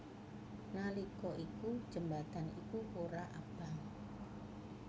Nalika iku jembatan iku ora abang